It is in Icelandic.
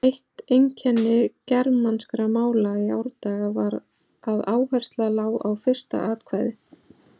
Eitt einkenni germanskra mála í árdaga var að áhersla lá á fyrsta atkvæði.